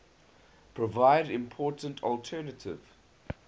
provide important alternative